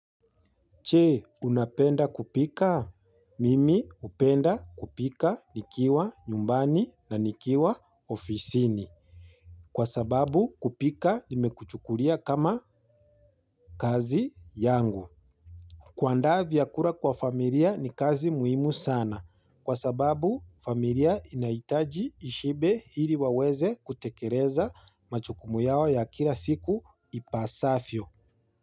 Che, unapenda kupika? Mimi hupenda kupika nikiwa nyumbani na nikiwa ofisini. Kwa sababu kupika nimekuchukulia kama kazi yangu. Kuandaa vyakula kwa familia ni kazi muhimu sana. Kwa sababu familia inahitaji ishibe ili waweze kutekeleza majukumu yao ya kila siku ipasavyo.